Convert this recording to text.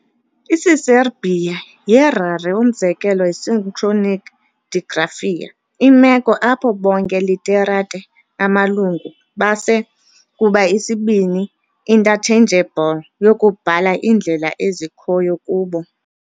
Isiserbia yi rare umzekelo synchronic digraphia, imeko apho bonke literate amalungu base kuba isibini interchangeable yokubhala iindlela ezikhoyo kubo.